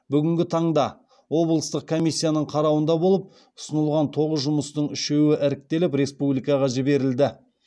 бүгінгі таңда облыстық комиссияның қарауында болып ұсынылған тоғыз жұмыстың үшеуі іріктеліп республикаға жіберілді